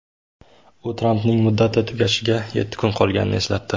U Trampning muddati tugashiga yetti kun qolganini eslatdi.